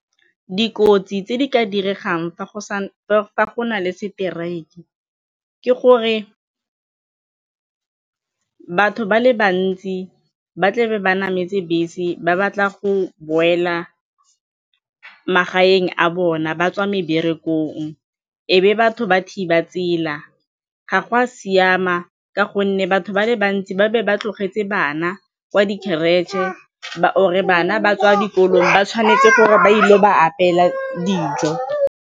Dikotsi tse di ka diregang fa go na le seteraeke ke gore batho ba le bantsi ba tle ba nameletse bese ba batla go boela magaeng a bona ba tswa e be batho ba thiba tsela, ga go a siama ka gonne batho ba le bantsi ba be ba tlogetse bana kwa di-creche-e or-re bana ba tswa dikolong ba tshwanetse gore ba ile go ba apeela dijo.